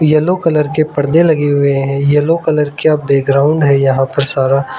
yellow colour के परदे लगे हुए हैं येलो कलर का बैकग्राउंड है यहां पर सारा--